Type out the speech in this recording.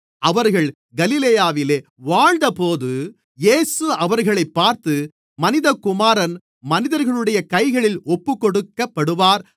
அவர்கள் கலிலேயாவிலே வாழ்ந்தபோது இயேசு அவர்களைப் பார்த்து மனிதகுமாரன் மனிதர்களுடைய கைகளில் ஒப்புக்கொடுக்கப்படுவார்